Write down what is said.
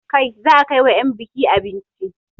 Kai za a kai wa 'yan buki abinci!